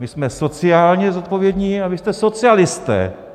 My jsme sociálně zodpovědní a vy jste socialisté.